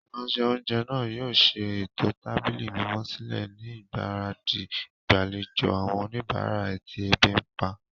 Ìránṣẹ́-oúnjẹ náà yóò ṣe ètò tábìlì mímọ́ sílẹ̀ ni ìgbáradì ìgbàlejò àwọn oníbàárà tí ebi ń pa.